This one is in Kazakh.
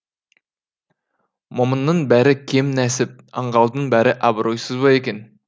момынның бәрі кем нәсіп аңғалдың бәрі абыройсыз ба екен